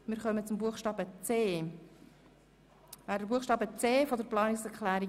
Wir kommen zum Buchstaben c der Planungserklärung